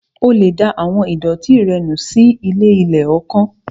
O lè da àwọn ìdọ̀ọ̀tí rẹ nù sínu ilé-ilẹ̀ kan